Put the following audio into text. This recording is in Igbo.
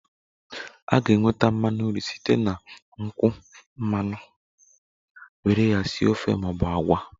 A ga-enweta mmanu nru site na nkwụ mmanụ were ya sie ofe maọbụ agwa